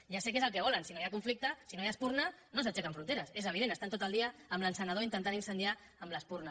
ja sé que és el que volen si no hi ha conflicte si no hi ha espurna no s’aixequen fronteres és evident estan tot el dia amb l’encenedor intentant incendiar amb l’espurna